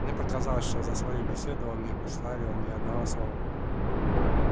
мне показалось что за свою беседу он не вставил ни одного слова